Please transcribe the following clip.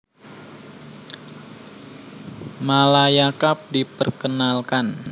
Malaya Cup diperkenalkan